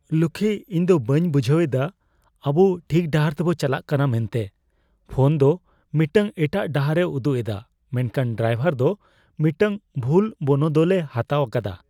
ᱞᱚᱠᱠᱷᱤ, ᱤᱧ ᱫᱚ ᱵᱟᱹᱧ ᱵᱩᱡᱷᱟᱹᱣ ᱮᱫᱟ ᱟᱵᱩ ᱴᱷᱤᱠ ᱰᱟᱦᱟᱨ ᱛᱮᱵᱚ ᱪᱟᱞᱟᱣᱚᱜ ᱠᱟᱱᱟ ᱢᱮᱱᱛᱮ ᱾ ᱯᱷᱚᱱ ᱫᱚ ᱢᱤᱫᱴᱟᱝ ᱮᱴᱟᱜ ᱰᱟᱦᱟᱨ ᱮ ᱩᱫᱩᱜ ᱮᱫᱟ ᱢᱮᱱᱠᱷᱟᱱ ᱰᱨᱟᱭᱵᱷᱟᱨ ᱫᱚ ᱢᱤᱫᱴᱟᱝ ᱵᱷᱩᱞ ᱵᱚᱱᱚᱫᱚᱞᱮ ᱦᱟᱛᱟᱣ ᱟᱠᱟᱫᱟ ᱾